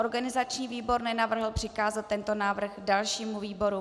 Organizační výbor nenavrhl přikázat tento návrh dalšímu výboru.